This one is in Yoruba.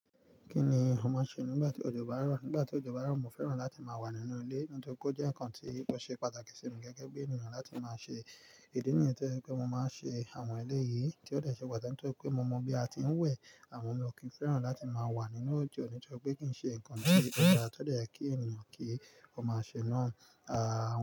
Kí ni o máa ṣe nígbà tí òjò bá rọ̀? Nígbà tí òjò bá rọ̀, mo fẹ́ràn láti máa wà nínú ilé nítorí pe ó jẹ́ nǹkan tí ò ṣe pàtàkì sí mi gẹ́gẹ́ bí ènìyàn láti má ṣe. Idi nìyẹn to je pe mo máa ń ṣe àwọn eléyìí tí ó dàṣẹ pàtàkì nítorí pé mo mọ bí a ti ń wẹ̀ àmọ́ mo kò fẹ́ràn láti má wà nínú òjò nítorí pé kì í ṣe ǹkan tí ọba tọ̀ dá kí ènìyàn kí ó máa ṣe náà. Àà.